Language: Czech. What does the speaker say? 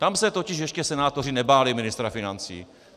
Tam se totiž ještě senátoři nebáli ministra financí.